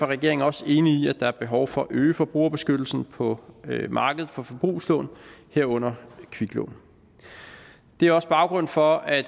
regeringen også enig i at der er behov for at øge forbrugerbeskyttelsen på markedet for forbrugslån herunder kviklån det er også baggrunden for at